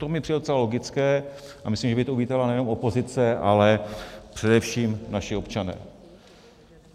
To mi přijde docela logické a myslím, že by to uvítala nejenom opozice, ale především naši občané.